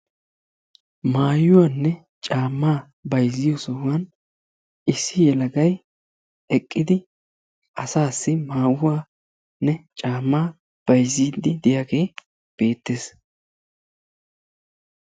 Maayuwanne caammaa bayzziyo sohuwan issi yelagay eqqidi asaassi maayuwanne caammaa bayzziiddi diyagee beettees.